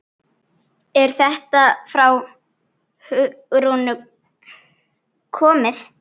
Er þetta frá Hugrúnu komið?